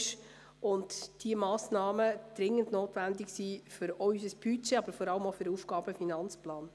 Diese Massnahmen sind dringend notwendig für unser Budget, aber auch für den AFP.